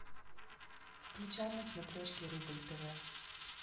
включай на смотрешке рубль тв